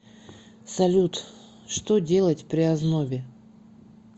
салют что делать при ознобе